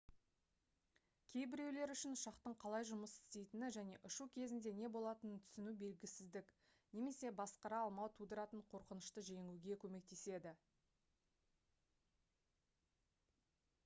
кейбіреулер үшін ұшақтың қалай жұмыс істейтіні және ұшу кезінде не болатынын түсіну белгісіздік немесе басқара алмау тудыратын қорқынышты жеңуге көмектеседі